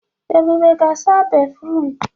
Ebube ga-asa béfrụm.